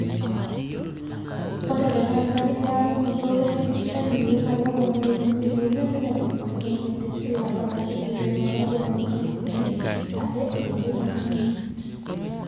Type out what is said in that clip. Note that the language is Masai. ore te katikati e eyarunoto we nkitainoto naa keponari too mitai 360,000 te kila olari eiteru olari loo nkalifuni are o tikitam oimet